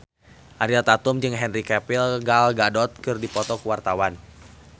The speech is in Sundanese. Ariel Tatum jeung Henry Cavill Gal Gadot keur dipoto ku wartawan